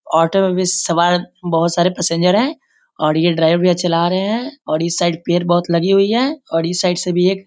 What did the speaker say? auto में भी सवार बहुत सारे पैसेंजर हैं और यह ड्राईवर चला रहे हैं और इस साइड पेड़ बहुत लगी हुई है और इस साइड से भी एक --